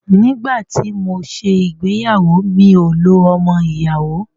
Nígbà tí mọ ṣé ìgbéyàwó, mi ò lo ọmọ ìyàwó.